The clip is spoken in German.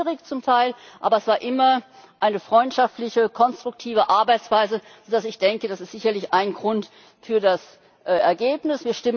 Es war zum Teil schwierig, aber es herrschte immer eine freundschaftliche, konstruktive Arbeitsweise, so dass ich denke, das ist sicherlich ein Grund für das Ergebnis.